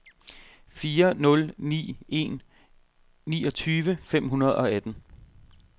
fire nul ni en niogtyve fem hundrede og atten